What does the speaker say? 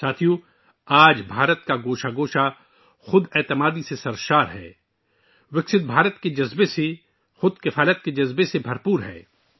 دوستو، آج ہندوستان کا ہر گوشہ ترقی یافتہ ہندوستان کے جذبے سے لبریز، خود اعتمادی اور خود انحصاری کے جذبے سے بھرا ہوا ہے